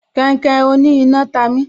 Kainkain oní iná ta mi